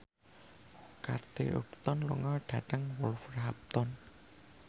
Kate Upton lunga dhateng Wolverhampton